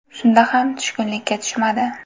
Shunda ham tushkunlikka tushmadi.